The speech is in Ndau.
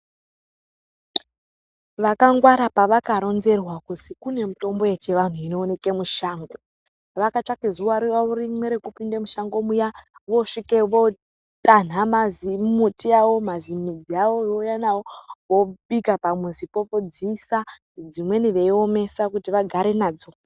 Vakangwara pavaka ronzerwa kuti kune mitombo yechivantu inoonekwa mushango vakatsvaka zuwa rimwe rekupinda mushango vosvika votanha mazi midzi avo veiuya nawo vobika pamuzi pawo veidziisa dzimweni veidziisa kuti vagare nadzo.